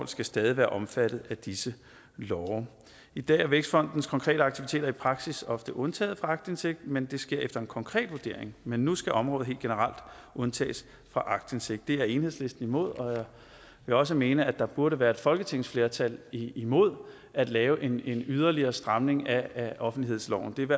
skal stadig være omfattet af disse love i dag er vækstfondens konkrete aktiviteter i praksis ofte undtaget for aktindsigt men det sker efter en konkret vurdering men nu skal området helt generelt undtages for aktindsigt det er enhedslisten imod og jeg vil også mene at der burde være et folketingsflertal imod at lave en yderligere stramning af offentlighedsloven blandt